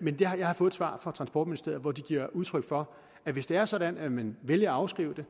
men jeg har fået et svar fra transportministeriet hvor de giver udtryk for at hvis det er sådan at man vælger at afskrive det